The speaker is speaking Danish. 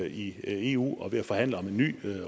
i eu og er ved at forhandle om en ny